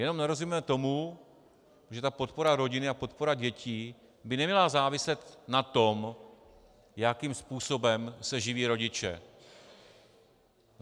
Jenom nerozumíme tomu, že ta podpora rodin a podpora dětí by neměla záviset na tom, jakým způsobem se živí rodiče.